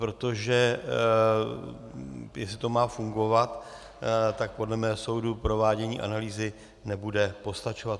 Protože jestli to má fungovat, tak podle mého soudu provádění analýzy nebude postačovat.